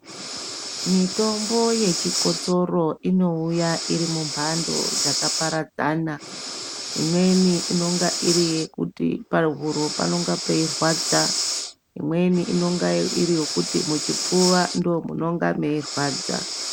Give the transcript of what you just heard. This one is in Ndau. Mitombo yechikosoro inouya iri mumbhando dzakaparadzana, imweni inonga iri yekuti pahuro panenge peirwadza, imweni inonga iri yekuti muchipfuva ndomunonga meirwadza.